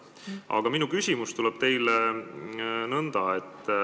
Aga minu küsimus teile on selline.